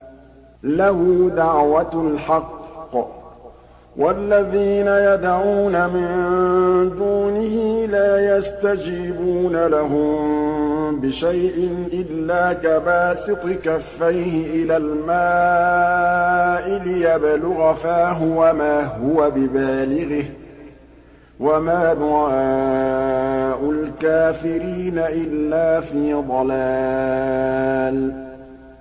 لَهُ دَعْوَةُ الْحَقِّ ۖ وَالَّذِينَ يَدْعُونَ مِن دُونِهِ لَا يَسْتَجِيبُونَ لَهُم بِشَيْءٍ إِلَّا كَبَاسِطِ كَفَّيْهِ إِلَى الْمَاءِ لِيَبْلُغَ فَاهُ وَمَا هُوَ بِبَالِغِهِ ۚ وَمَا دُعَاءُ الْكَافِرِينَ إِلَّا فِي ضَلَالٍ